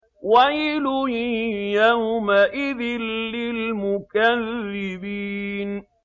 وَيْلٌ يَوْمَئِذٍ لِّلْمُكَذِّبِينَ